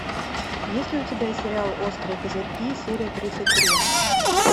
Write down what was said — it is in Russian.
есть ли у тебя сериал острые козырьки серия тридцать три